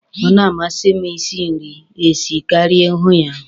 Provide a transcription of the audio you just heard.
Ọ na-amasi m Ị si nri esi karịa Ị hụ ya ahụ.